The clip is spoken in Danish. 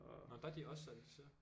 Nåh der er de også certificeret